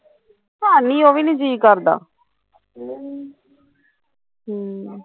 ਖਾਂਦੀ ਉਹ ਵੀ ਨੀ ਜੀਅ ਕਰਦਾ ਹਮ